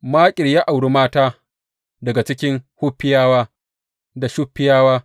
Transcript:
Makir ya auri mata daga cikin Huffiyawa da Shuffiyawa.